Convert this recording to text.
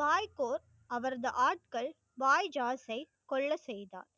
பாய்கோர் அவரது ஆட்கள் வாய் ஜாஸ்சை கொள்ள செய்தார்.